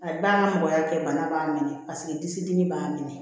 Ayi b'an ka mɔgɔya kɛ bana b'a minɛ paseke disi dimi b'a minɛ